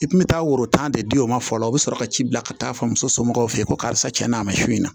I kun mi taa woro tan de di o ma fɔlɔ o bi sɔrɔ ka ci bila ka taa fɔ muso somɔgɔw fe yen ko karisa n'a ma s'u ɲɛna